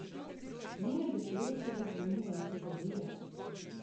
Njene besede so me zlomile in prizadele.